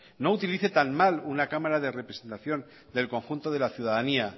no utilice tan mal una cámara de representación del conjunto de la ciudadanía